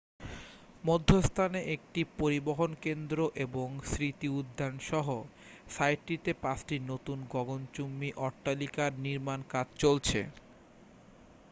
মধ্যস্থানে একটি পরিবহন কেন্দ্র এবং স্মৃতি উদ্যান সহ সাইটটিতে পাঁচটি নতুন গগণচুম্বী অট্টালিকার নির্মাণ কাজ চলছে